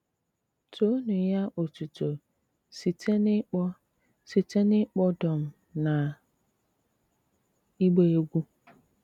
Toónú yá ótútó síté n’ị́kpọ́ síté n’ị́kpọ́ dọ́m ná ígba égwú.